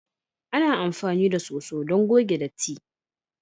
Ana amfani da soso don goge datti.